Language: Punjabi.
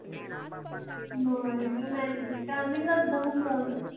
ਨਾ ਅੜੀਏ ਮੈਂ ਨੀ ਗਈ time ਹੀ ਨਹੀਂ ਲੱਗਦਾ ਹੁਣ ਜਾਣ ਦਾ।